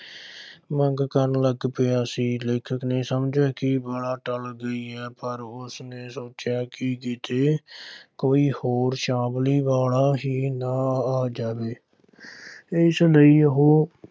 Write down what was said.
ਮੰਗ ਕਰਨ ਲੱਗ ਪਿਆ ਸੀ, ਲੇਖਕ ਨੇ ਸਮਝਿਆ ਕਿ ਬਲਾ ਟਲ ਗਈ ਹੈ ਪਰ ਉਸਨੇ ਸੋਚਿਆ ਕਿ ਕਿਤੇ ਕੋਈ ਹੋਰ ਛਾਬੜੀ ਵਾਲਾ ਹੀ ਨਾ ਆ ਜਾਵੇ ਇਸ ਲਈ ਉਹ